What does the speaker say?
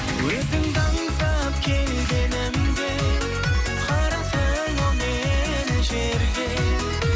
өзіңді аңсап келгенімде қараттың ау мені жерге